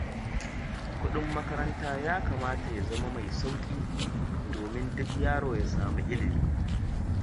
Kuɗin makaranta ya kamata ya zama mai sauƙi domin duk yaro ya samu ilimi.